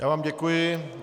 Já vám děkuji.